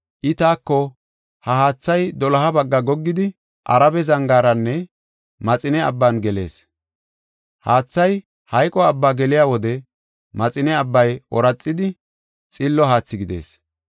I taako, “Ha haathay doloha bagga goggidi, Arabe zangaaranne Maxine Abban gelees. Haathay Maxine Abbaa geliya wode Maxine Abbay ooraxidi xillo haathi gidees.